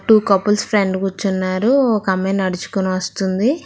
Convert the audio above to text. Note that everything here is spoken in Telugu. టూ కపుల్స్ ఫ్రంట్ కూర్చున్నారు ఒక అమ్మాయి నడుచుకుని వస్తుంది.